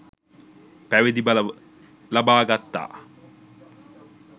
පැවිදි බව ලබා ගත්තා.